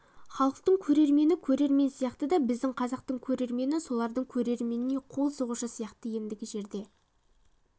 халықтың көрермені көрермен сияқты да біздің қазақтың көрермені солардың көрерменіне қол соғушы сияқты ендігі жерде